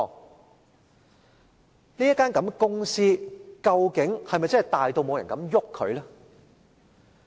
究竟這間公司是否真的大到沒人敢碰它？